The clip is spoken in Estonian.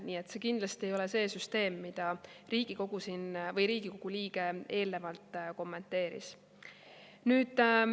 Nii et see kindlasti ei ole see süsteem, mida Riigikogu liige siin eelnevalt kommenteeris.